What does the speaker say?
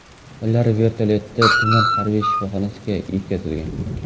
Ular vertolyotda tuman harbiy shifoxonasiga yetkazilgan.